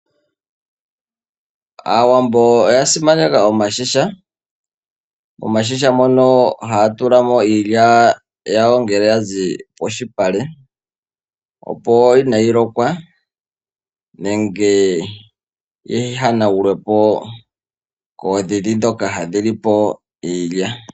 Aawambo oya simaneka oontungwa oontungwa mono haya tula mo iilya yawo ngele ya zi polupale, opo kaayi lokwe nenge yihanagulwe po koodhidhi dhoka hadhi li po iilya.